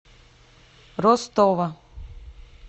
ростова